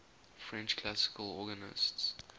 french classical organists